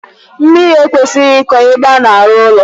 Mmiri ekwesịghị ịkọ ebe a na-arụ ụlọ.